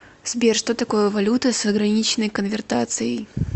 сбер что такое валюта с ограниченной конвертацией